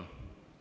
Jaak Aab, palun!